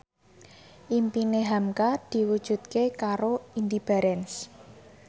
impine hamka diwujudke karo Indy Barens